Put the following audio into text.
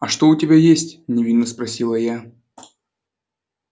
а что у тебя есть невинно спросила я